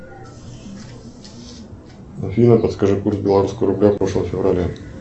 афина подскажи курс белорусского рубля в прошлом феврале